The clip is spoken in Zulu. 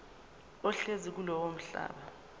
ohlezi kulowo mhlaba